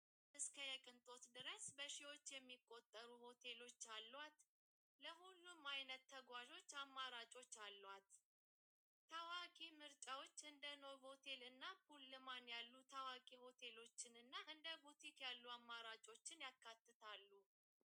እስከ የቕንጦት ድረስ በሽዎት የሚቖተሩ ሆቴሎት ኣልዋት ለዂሉ ማይነት ተጓዙት ኣማራጮት ኣልዋት ተዋቂ ምርጨዎ እንደ ኖ ቴልና ፑልማን ያሉ ተዋቂ ሆቴሎትንና እንደ ጐቲት ያሉ ኣማራጮትን ያካትታሉ።